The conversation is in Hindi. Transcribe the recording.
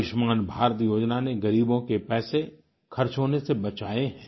आयुष्मान भारत योजना ने गरीबों के पैसे खर्च होने से बचाए हैं